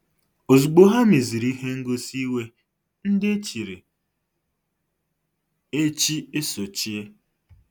Ozugbo ha meziri ihe ngosi iwe ndị echiri echi esochie.